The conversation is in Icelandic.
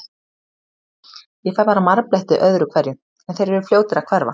Ég fæ bara marbletti öðru hverju, en þeir eru fljótir að hverfa.